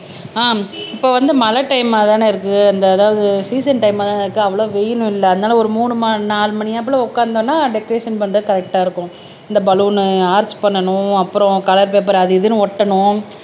ஆஹ் இப்ப வந்து மழை டைமா தானே இருக்கு அந்த அதாவது சீசன் டைமாதான இருக்கு அவ்வளவு வெயிலும் இல்ல அதனால ஒரு மூணு நாலு மணியாப்பில உட்கார்ந்தோம்னா டெகரேஷன் பண்றது கரெக்ட்டா இருக்கும் இந்த பலூன் ஆர்ச் பண்ணணும் அப்புறம் கலர் பேப்பர் அது இதுன்னு ஒட்டணும்